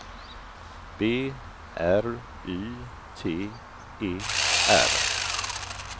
B R Y T E R